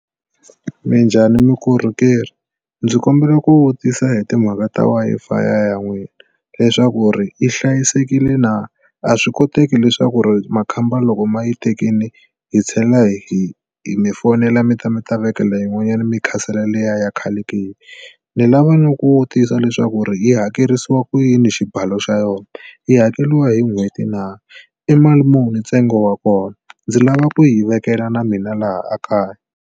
Minjhani mukorhokerhi ndzi kombela ku vutisa hi timhaka ta Wi-fi ya n'wina leswaku ri yi hlayisekile na? a swi koteki leswaku makhamba loko ma yi tekile hi tlhela hi mi fonela mi ta mi ta vekela yin'wanyana mi khansela liya ya khale ke? Ni lava na ku vutisa leswaku yi hakerisiwa ku yini xibalo xa yona yi hakeriwa hi n'hweti na? I mali muni ntsengo wa kona? Ndzi lava ku yi vekela na mina laha ekaya.